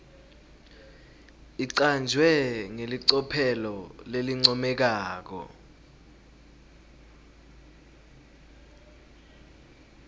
icanjwe ngelicophelo lelincomekako